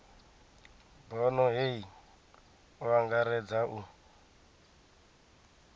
bono hei o angaredza u